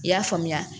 I y'a faamuya